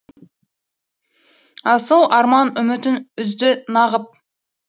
асыл арман үмітін үзді нағып